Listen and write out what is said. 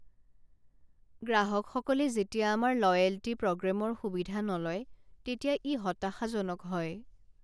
গ্ৰাহকসকলে যেতিয়া আমাৰ লয়েল্টী প্ৰগ্ৰেমৰ সুবিধা নলয় তেতিয়া ই হতাশাজনক হয়।